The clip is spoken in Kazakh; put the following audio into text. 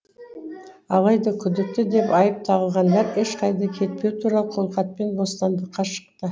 алайда күдікті деп айып тағылғандар ешқайда кетпеу туралы қолхатпен бостандыққа шықты